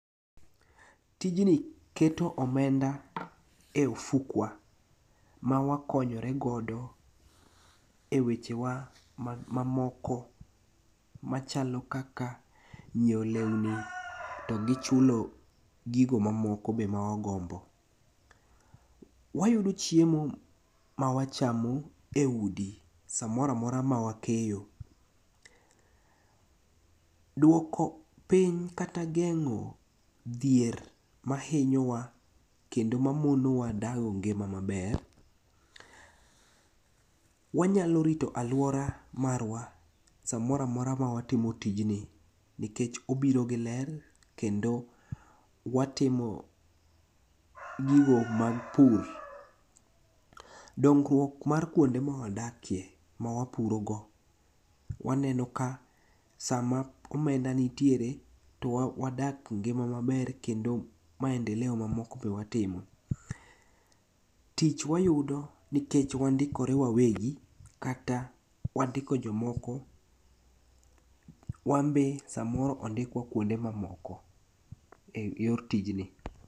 Tijni keto omenda e ofukwa mawakonyore godo e wechewa mamoko machalo kaka nyieo leuni to gichulo gigo mamoko be mawagombo. Wayudo chiemo mawachamo e udi samoramora ma wakeyo. Duoko piny kata geng'o dhier mainyowa kendo mamonowa dago ngima maber, wanyalorito aluora marwa samoramora ma watimo tijni nikech obiro gi ler kendo watimo gigo mag pur. Dongruok mar kuonde mwadakie ma wapurogo waneno ka sama omenda nitiere to wadak ngima maber kendo maendeleo mamoko be watimo. Tich wayudo nikech wandikore wawegi kata wandiko jomoko wanbe samoro ondikua kuonde mamoko e yor tijni.